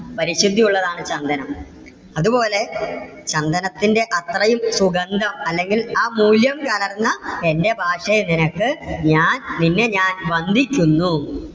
പരിശുദ്ധി ഉള്ളതാണ് ചന്ദനം. അതുപോലെ ചന്ദനത്തിന്റെ അത്രയും സുഗന്ധം അല്ലെങ്കിൽ ആ മൂല്യം കലർന്ന എന്റെ ഭാഷേ നിനക്ക് ഞാൻ നിന്നെ ഞാൻ വന്ദിക്കുന്നു.